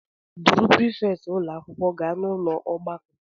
Duru prifétị ụlọ akwụkwọ gaa n'ụlọ ọgbakọ